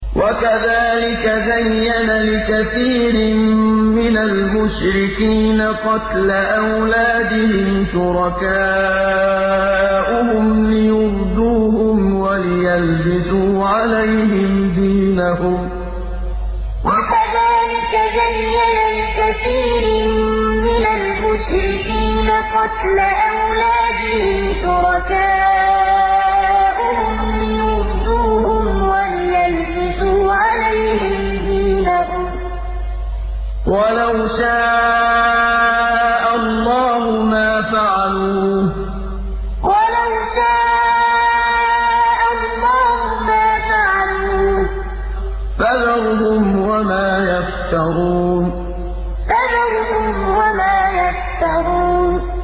وَكَذَٰلِكَ زَيَّنَ لِكَثِيرٍ مِّنَ الْمُشْرِكِينَ قَتْلَ أَوْلَادِهِمْ شُرَكَاؤُهُمْ لِيُرْدُوهُمْ وَلِيَلْبِسُوا عَلَيْهِمْ دِينَهُمْ ۖ وَلَوْ شَاءَ اللَّهُ مَا فَعَلُوهُ ۖ فَذَرْهُمْ وَمَا يَفْتَرُونَ وَكَذَٰلِكَ زَيَّنَ لِكَثِيرٍ مِّنَ الْمُشْرِكِينَ قَتْلَ أَوْلَادِهِمْ شُرَكَاؤُهُمْ لِيُرْدُوهُمْ وَلِيَلْبِسُوا عَلَيْهِمْ دِينَهُمْ ۖ وَلَوْ شَاءَ اللَّهُ مَا فَعَلُوهُ ۖ فَذَرْهُمْ وَمَا يَفْتَرُونَ